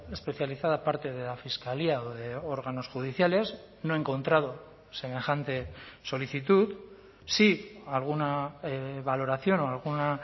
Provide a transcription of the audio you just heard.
especializada parte de la fiscalía o de órganos judiciales no he encontrado semejante solicitud sí alguna valoración o alguna